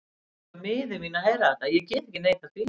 Ég varð líka miður mín að heyra þetta, ég get ekki neitað því.